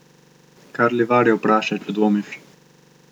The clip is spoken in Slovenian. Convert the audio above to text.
Kar Livarje vprašaj, če dvomiš.